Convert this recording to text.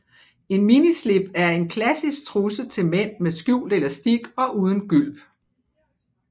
En minislip er en klassisk trusse til mænd med skjult elastik og uden gylp